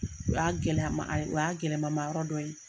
U y'a gɛlɛya ma o y'a gɛlɛma ma yɔrɔ dɔ ye.